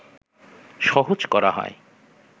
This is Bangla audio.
সহজ করা হয়